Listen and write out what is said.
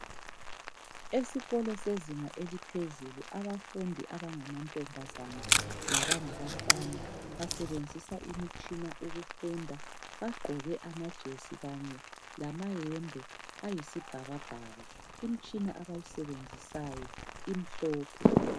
Esikolo sezinga eliphezulu, abafundi abangamantombazana labangabafana basebenzisa imitshina ukufunda, bagqoke amajesi kanye lamayembe ayisibhakabhaka. Imtshina abayisebenzisayo imhlophe.